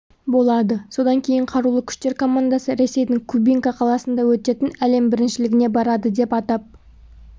болады содан кейін қарулы күштер командасы ресейдің кубинка қаласында өтетін әлем біріншілігіне барады деп атап